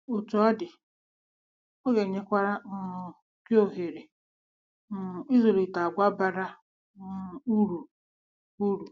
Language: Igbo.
Otú ọ dị, ọ ga-enyekwara um gị ohere um ịzụlite àgwà bara um uru uru.